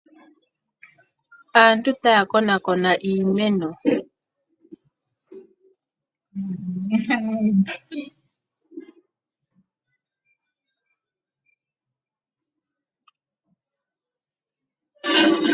Aantu taya konakona iimeno